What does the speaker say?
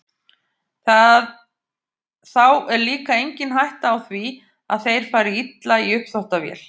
Þá er líka engin hætta á því að þeir fari illa í uppþvottavél.